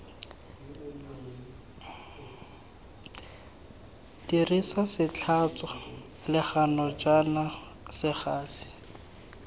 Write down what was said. dirisa setlhatswa legano kana segasi